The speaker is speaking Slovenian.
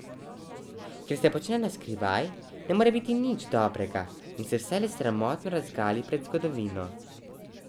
Kar se počne na skrivaj, ne more biti nič dobrega in se vselej sramotno razgali pred zgodovino.